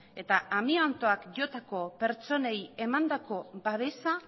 eta amiantoak jotako pertsonei emandako babesa